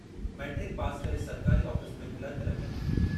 Matric pass करे सरकारी office में क्लार्क लॻी वियो।